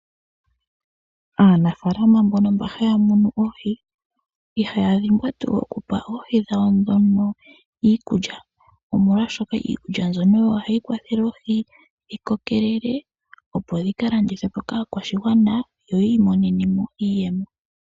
Aanafaalama mbono mba haya munu oohi ihaya dhimbwa tuu okupa oohi dhawo ndhono iikulya, molwashoka iikulya mbyono oyo hayi kwathele oohi dhi kokelele opo dhi ka landithwe po kaakwashigwana yo yi imonene mo iiyemo.